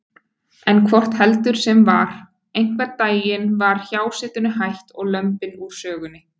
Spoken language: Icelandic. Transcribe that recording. En hvort heldur sem var: einhvern daginn var hjásetunni hætt og lömbin úr sögunni.